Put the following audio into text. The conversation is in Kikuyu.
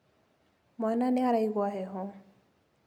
Mwaana nĩ araigua heho.